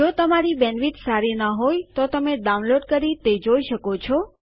જો તમારી બેન્ડવિડ્થ સારી ન હોય તો તમે ડાઉનલોડ કરી તે જોઈ શકો છો